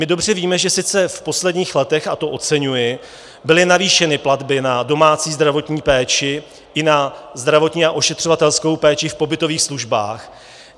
My dobře víme, že sice v posledních letech, a to oceňuji, byly navýšeny platby na domácí zdravotní péči i na zdravotní a ošetřovatelskou péči v pobytových službách.